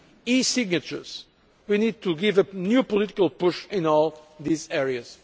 e signatures we need to give a new political push in all these areas.